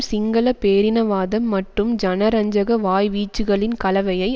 சிங்கள பேரினவாதம் மற்றும் ஜனரஞ்சக வாய்வீச்சுக்களின் கலவையை